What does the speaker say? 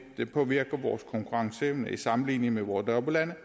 det påvirker vores konkurrenceevne i sammenligning med vores nabolande